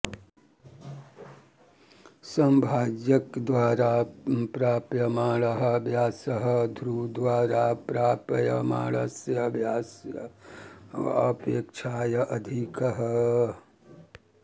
तन्नाम समभाजकद्वारा प्राप्यमाणः व्यासः ध्रुवद्वारा प्राप्यमाणस्य व्यासस्य अपेक्षया अधिकः